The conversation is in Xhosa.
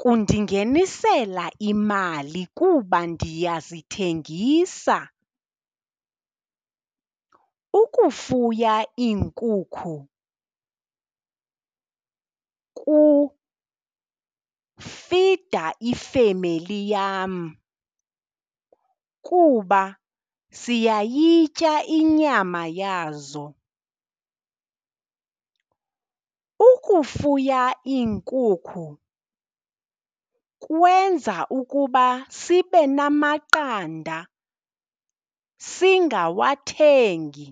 kundingenisela imali kuba ndiyazithengisa. Ukufuya iinkukhu kufida ifemeli yam kuba siyayitya inyama yazo. Ukufuya iinkukhu kwenza ukuba sibe namaqanda, singawathengi.